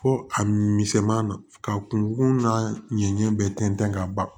Fo a misɛnman na ka kun n'a ɲɛ bɛɛ tɛntɛn ka ban